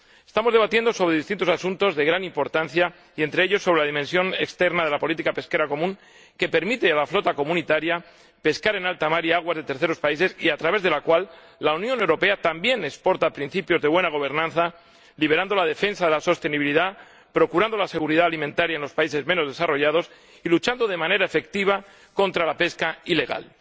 Estamos debatiendo distintos asuntos de gran importancia, entre ellos la dimensión exterior de la política pesquera común, que permite a la flota de la UE pescar en alta mar y en aguas de terceros países, y a través de la cual la Unión Europea también exporta principios de buena gobernanza, liderando la defensa de la sostenibilidad, procurando la seguridad alimentaria en los países menos desarrollados y luchando de manera efectiva contra la pesca ilegal.